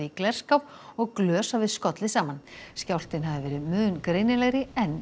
glerskáp og glös hafi skollið saman skjálftinn hafi verið mun greinilegri en